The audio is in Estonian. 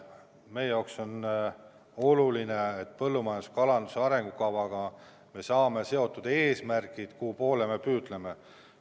Meie jaoks on oluline, et me põllumajanduse ja kalanduse arengukavaga saame seatud eesmärgid, mille poole me püüdleme.